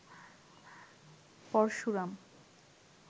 Parashuram